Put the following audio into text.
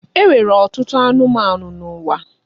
E nwere ọtụtụ anụmanụ n'ụwa.